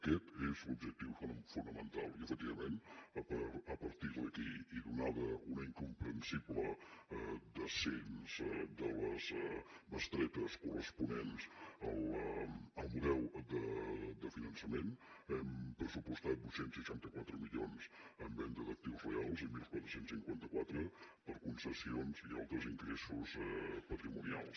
aquest és l’objectiu fonamental i efectivament a partir d’aquí i atès un incomprensible descens de les bestretes corresponents al model de finançament hem pressupostat vuit cents i seixanta quatre milions en venda d’actius reals i catorze cinquanta quatre per concessions i altres ingressos patrimonials